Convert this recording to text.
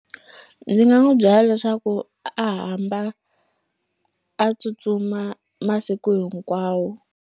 Ndzi nga n'wu byela leswaku a hamba a tsutsuma masiku hinkwawo.